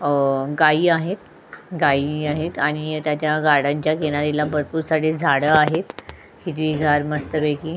अ गाई आहेत गाई आहेत आणि त्याच्या गार्डन च्या किनारीला भरपूर सारी झाड आहेत हिरवीगार मस्तपैकी.